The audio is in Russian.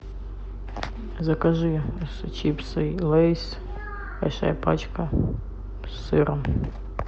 закажи чипсы лейс большая пачка с сыром